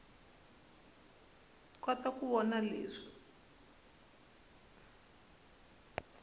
kota ku vona swilo leswi